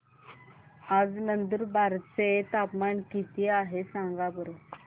आज नंदुरबार चं तापमान किती आहे सांगा बरं